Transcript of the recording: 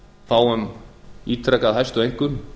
fáum ítrekað hæstu einkunn